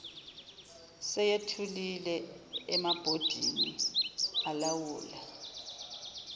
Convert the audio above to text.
seyethuliwe emabhodini alawula